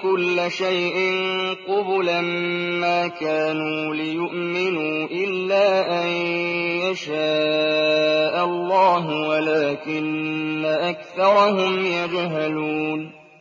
كُلَّ شَيْءٍ قُبُلًا مَّا كَانُوا لِيُؤْمِنُوا إِلَّا أَن يَشَاءَ اللَّهُ وَلَٰكِنَّ أَكْثَرَهُمْ يَجْهَلُونَ